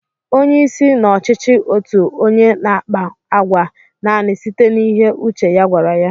Onyeisi n'ọchịchị otu onye n'àkpá àgwà nani site n'ihe uche ya gwara ya